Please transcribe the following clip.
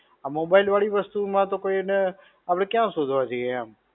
આ mobile વળી વસ્તુ માં તો કોઈને આપણે ક્યાં શોધવા જઈએ એમ.